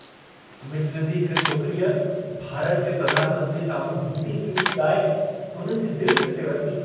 मिस्र जी हिक छोकिरीअ भारत जे प्रधान मंत्रीअ साम्हूं हिंदी गीतु ॻाए, हुननि जी दिलि खटे वरिती।